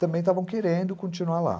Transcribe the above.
também estavam querendo continuar lá.